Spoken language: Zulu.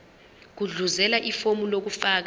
gudluzela ifomu lokufaka